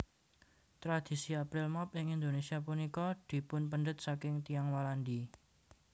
Tradhisi April Mop ing Indonésia punika dipunpendhet saking Tiyang Walandi